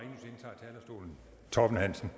torben hansen